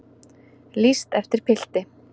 Lýst eftir pilti